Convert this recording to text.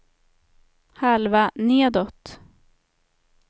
halva nedåt